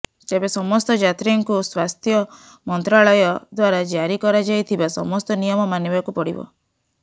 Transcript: ତେବେ ସମସ୍ତ ଯାତ୍ରୀଙ୍କୁ ସ୍ୱାସ୍ଥ୍ୟମନ୍ତ୍ରାଳୟ ଦ୍ୱାରା ଜାରି କରାଯାଇଥିବା ସମସ୍ତ ନିୟମ ମାନିବାକୁ ପଡ଼ିବ